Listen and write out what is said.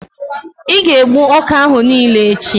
ị ga-egbu ọka ahụ niile echi!